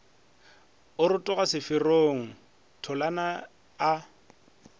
a rotoga seferong tholana a